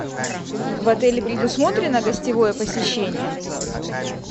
в отеле предусмотрено гостевое посещение